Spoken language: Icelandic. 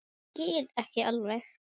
Ég skil ekki alveg